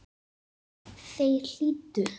Þeir hlýddu.